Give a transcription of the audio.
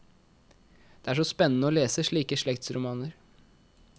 Det er så spennende å lese slike slektsromaner.